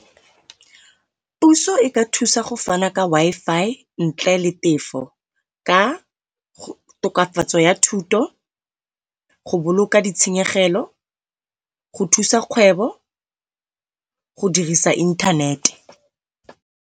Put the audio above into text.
Puso e ka thusa go fana Ka Wi-Fi ntle le tefo, ka tokafatso ya thuto go boloka di tshenyegelo, go thusa kgwebo go dirisa inthanete.